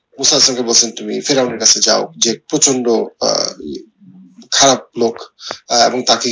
তুমি কাছে যাও যে প্রচন্ড আহ উহ খারাপ লোক এবং তাকে